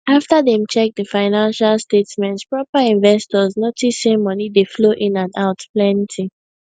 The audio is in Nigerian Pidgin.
after dem check the financial statements proper investors notice say money dey flow in and out plenty